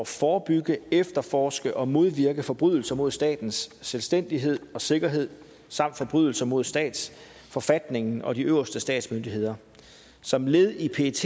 forebygge efterforske og modvirke forbrydelser mod statens selvstændighed og sikkerhed samt forbrydelser mod statsforfatningen og de øverste statsmyndigheder som led i pets